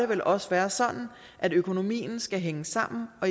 vel også være sådan at økonomien skal hænge sammen og